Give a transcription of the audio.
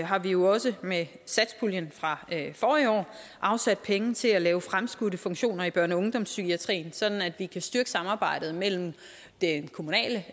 har vi jo også med satspuljen fra forrige år afsat penge til at lave fremskudte funktioner i børne og ungdomspsykiatrien sådan at vi kan styrke samarbejdet mellem den kommunale